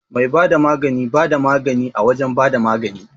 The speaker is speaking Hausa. Mai bada magani bada magani a wajan bada magani